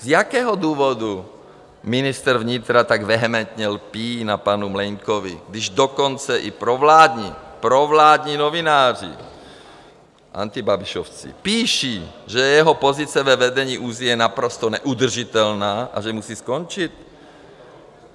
Z jakého důvodu ministr vnitra tak vehementně lpí na panu Mlejnkovi, když dokonce i provládní, provládní novináři, antibabišovci, píší, že jeho pozice ve vedení ÚZSI je naprosto neudržitelná a že musí skončit?